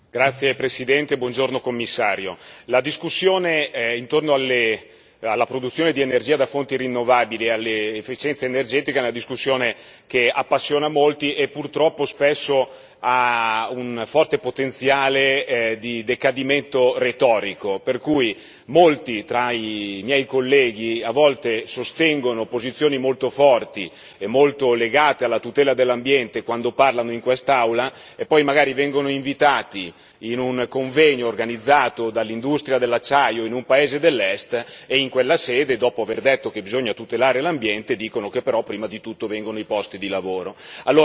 Signor Presidente, onorevoli colleghi, signor Commissario, la discussione intorno alla produzione di energia da fonti rinnovabili e all'efficienza energetica è una discussione che appassiona molti e purtroppo spesso ha un forte potenziale di decadimento retorico, per cui molti tra i miei colleghi a volte sostengono posizioni molto forti e molto legate alla tutela dell'ambiente quando parlano in quest'Aula e poi magari vengono invitati a un convegno organizzato dall'industria dell'acciaio in un paese dell'Est e in quella sede, dopo aver detto che bisogna tutelare l'ambiente, dicono che però prima di tutto vengono i posti di lavoro.